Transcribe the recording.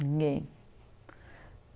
Ninguém.